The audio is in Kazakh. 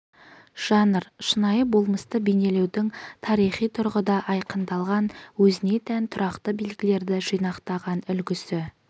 жанр шынайы болмысты бейнелеудің тарихи тұрғыда айқындалған өзіне тән тұрақты белгілерді жинақтаған үлгісі